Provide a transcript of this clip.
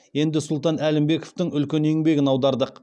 енді сұлтан әлімбековтің үлкен еңбегін аудардық